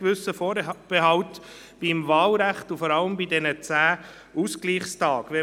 Wir haben einen gewissen Vorbehalt zum Wahlrecht und vor allem zu den 10 Ausgleichstagen.